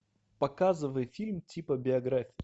показывай фильм типа биография